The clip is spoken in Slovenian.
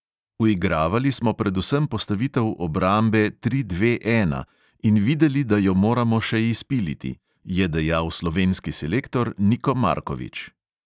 "Uigravali smo predvsem postavitev obrambe tri dve ena in videli, da jo moramo še izpiliti," je dejal slovenski selektor niko markovič.